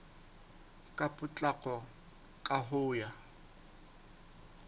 ka potlako ka ho ya